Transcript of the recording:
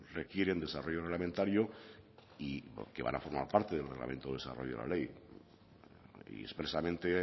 requieren desarrollo reglamentario y que van a formar parte del reglamento del desarrollo de la ley y expresamente